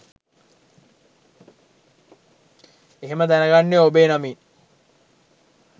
එහෙම දැනගන්නේ ඔබේ නමින්